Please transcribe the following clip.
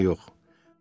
Heç nə yox.